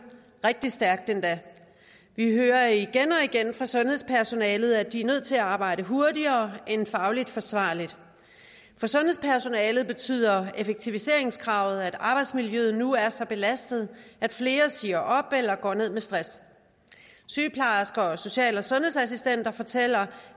rigtig stærkt endda vi hører igen og igen fra sundhedspersonalet at de er nødt til at arbejde hurtigere end fagligt forsvarligt for sundhedspersonalet betyder effektiviseringskravet at arbejdsmiljøet nu er så belastet at flere siger op eller går ned med stress sygeplejersker og social og sundhedsassistenter fortæller